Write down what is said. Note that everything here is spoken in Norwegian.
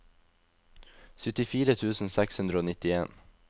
syttifire tusen seks hundre og nittien